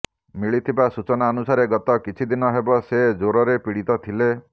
ମିଳିଥିବା ସୂଚନା ଅନୁସାରେ ଗତ କିଛିଦିନ ହେବ ସେ ଜ୍ବରରେ ପୀଡିତ ଥିଲେ